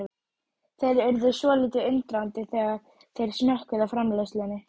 Þeir urðu svolítið undrandi þegar þeir smökkuðu á framleiðslunni.